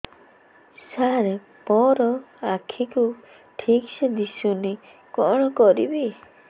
ସାର ମୋର ଆଖି କୁ ଠିକସେ ଦିଶୁନି କଣ କରିବି